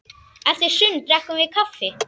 Eftir sund drekkum við kaffi.